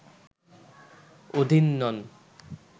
অধীন নন